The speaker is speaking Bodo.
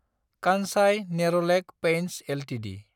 Kansai Nerolac paints Ltd